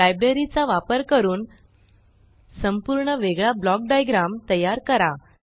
library चा वापर करून संपूर्ण वेगळा ब्लॉक डाइग्राम तयार करा